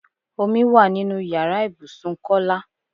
Omi wá nínú ìyára ibùsùn Kọ́lá.